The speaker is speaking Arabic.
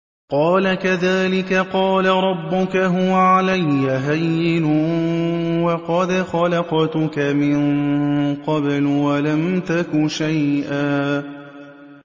قَالَ كَذَٰلِكَ قَالَ رَبُّكَ هُوَ عَلَيَّ هَيِّنٌ وَقَدْ خَلَقْتُكَ مِن قَبْلُ وَلَمْ تَكُ شَيْئًا